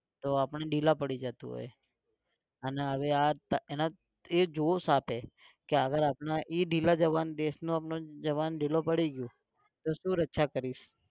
તો આપણે ઢીલા પડી જતું હોય. અને હવે આ એના તે જોશ સાથે અગર એ ઢીલા જવાન દેશનો આપણો જવાન ઢીલો પડી ગયો તો શું રક્ષા કરે